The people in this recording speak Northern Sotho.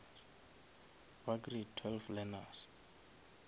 ba grade twelve learners